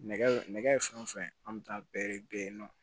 Nɛgɛ nɛgɛ fɛn o fɛn an bɛ taa bɛɛ de be yen nɔ